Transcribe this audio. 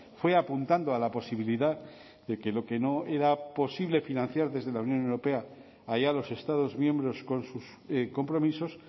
fue apuntando a la posibilidad de que lo que no era posible financiar desde la unión europea a ya los estados miembros con sus compromisos